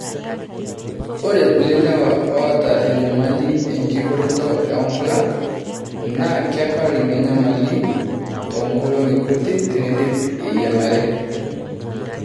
Ore kulie lewa oota enyamali enkibooroto oonkulak naa kepal ina nyamali toonkolongi kuti teneidip eyiang'are.